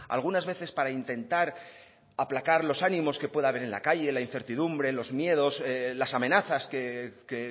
algunas veces para intentar aplacar los ánimos que pueda haber en la calle la incertidumbre los miedos las amenazas que